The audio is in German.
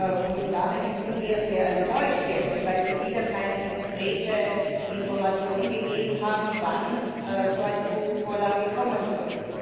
Frau Kommissarin, ich bin sehr enttäuscht, weil Sie wieder keine konkreten Informationen gegeben haben, wann so eine Vorlage kommen soll.